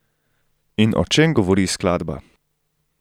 In o čem govori skladba?